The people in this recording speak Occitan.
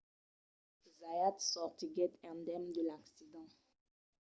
zayat sortiguèt indemne de l’accident